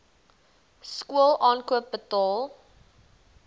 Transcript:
skool aankoop betaal